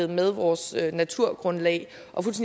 med vores naturgrundlag og